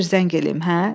Qoy bir zəng eləyim, hə?